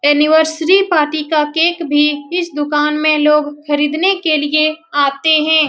Anniversary party का cake भी इस दुकान में लोग खरीदने के लिए आते है।